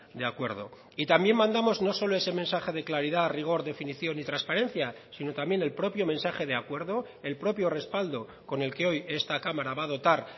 de acuerdo y también mandamos no solo ese mensaje de claridad rigor definición y transparencia sino también el propio mensaje de acuerdo el propio respaldo con el que hoy esta cámara va a dotar